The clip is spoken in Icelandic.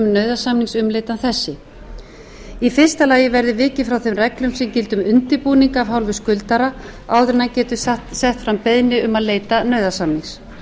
þessi fyrsti vikið verður frá þeim reglum sem gilda um undirbúning af hálfu skuldara áður en hann getur sett fram beiðni um að leita nauðasamnings